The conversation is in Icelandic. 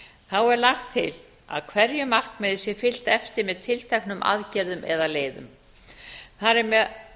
þá er lagt til að hverju markmiði sé fylgt eftir með tilteknum aðgerðum eða leiðum þar er